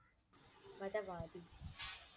மதவாதி